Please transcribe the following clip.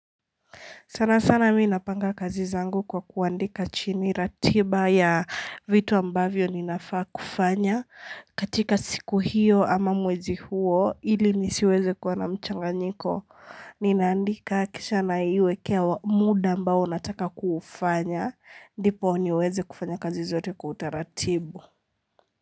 Sana sana mimi napanga kazi zangu kwa kuandika chini ratiba ya vitu ambavyo ninafaa kufanya katika siku hiyo ama mwezi huo ili nisiweze kuwa na mchanganyiko Nina andika kisha naiwekea muda ambao nataka kufanya Ndipo niweze kufanya kazi zote kwa utaratibu.